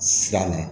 Siran na